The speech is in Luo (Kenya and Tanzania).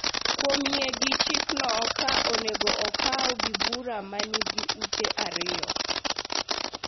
kuom yie gi chikno ka onego okaw gi bura ma nigi ute ariyo.